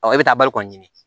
e bɛ taa bari kɔni ɲini